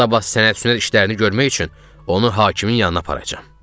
Sabah sənədsizlər işlərini görmək üçün onu hakimin yanına aparacam.